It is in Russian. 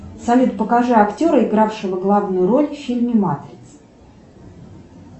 салют покажи актера игравшего главную роль в фильме матрица